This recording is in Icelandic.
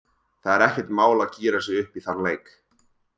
Það er ekkert mál að gíra sig upp í þann leik.